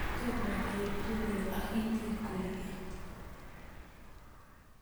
tomo ketuun akinyi kogeny